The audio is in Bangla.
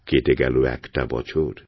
কেটে গেল একটা বছর